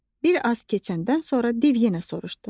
Bir az keçəndən sonra div yenə soruşdu.